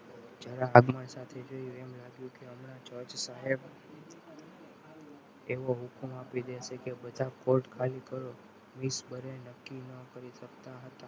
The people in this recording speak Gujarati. જરા આગમન સાથે જોઈને એમ લાગ્યું કે હમણાં જજ સાહેબ તેઓ હુકમ આપી દેશે કે બધા port ખાલી કરો. વીસ વર્ષ નક્કી ન કરી શકતા હતા.